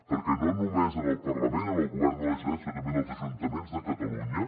perquè no només en el parlament en el govern de la generalitat sinó també en els ajuntaments de catalunya